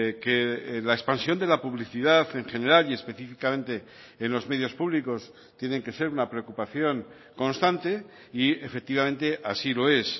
que la expansión de la publicidad en general y específicamente en los medios públicos tienen que ser una preocupación constante y efectivamente así lo es